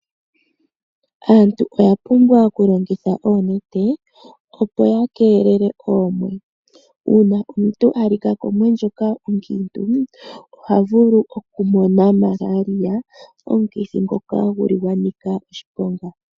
Aantu oya pumbwa okulongitha oonete opo ya keelele oomwe . Uuna omuntu alika komwe ndjoka okiintu ohavulu okumona malaria ,omukithi ngoka guli gwanika oshiponga.